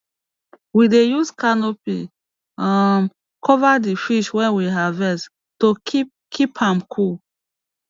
we dey use canopy um cover d fish wey we harvest to keep keep am cool